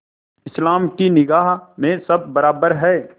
इस्लाम की निगाह में सब बराबर हैं